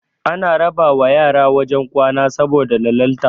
ana raba wa yara wajen kwana saboda lalalta